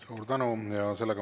Suur tänu!